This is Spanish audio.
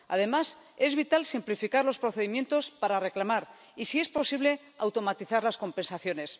Además, es vital simplificar los procedimientos para reclamar, y si es posible, automatizar las compensaciones.